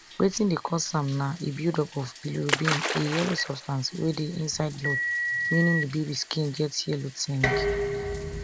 wetin dey cause am na a buildup of bilirubin a yellow substance wey dey inside blood meaning di baby skin get yellow tinge